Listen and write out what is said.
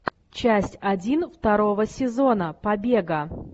часть один второго сезона побега